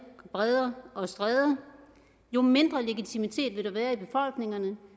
bredder og stræder jo mindre legitimitet vil der være risikerer vi